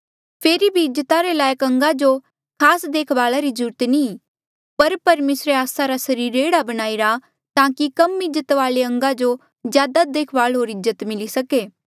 फेरी भी इज्जत रे लायक अंगा जो खास देखभाला री ज्रूरत नी ई पर परमेसरे आस्सा रा सरीर एह्ड़ा बणाईरा ताकि कम इज्जत वाले अंगा जो ज्यादा देखभाल होर इज्जत मिली सके